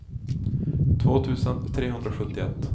två tusen trehundrasjuttioett